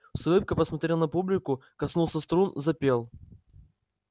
с улыбкой посмотрел на публику коснулся струн запел